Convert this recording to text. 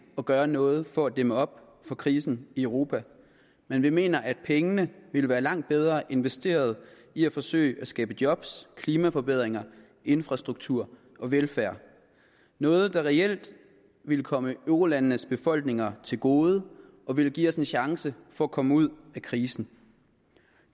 at gøre noget for at dæmme op for krisen i europa men vi mener at pengene vil være langt bedre investeret i at forsøge at skabe job klimaforbedringer infrastruktur og velfærd noget der reelt vil komme eurolandenes befolkninger til gode og vil give os en chance for at komme ud af krisen